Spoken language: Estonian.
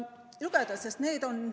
Lugege!